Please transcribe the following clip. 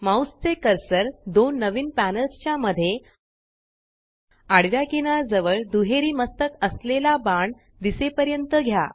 mouse चे cursor दोन नवीन पॅनल्स च्या मध्ये आडव्या किनार जवळ दुहेरी मस्तक असलेला बाण दिसेपर्यंत घ्या